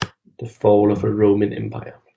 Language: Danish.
The Fall of the Roman Empire